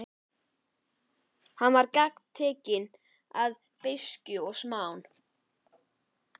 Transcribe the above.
Hann var gagntekinn beiskju og smán.